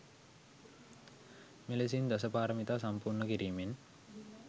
මෙලෙසින් දසපාරමිතා සම්පූර්ණ කිරීමෙන්